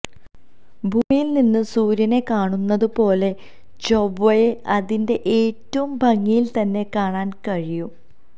ഭൂമിയില് നിന്ന് സൂര്യനെ ക്കാണുന്നതുപോലെ ചൊവ്വയെ അതിന്റെ ഏറ്റവും ഭംഗിയില് തന്നെ കാണാന് കഴിയും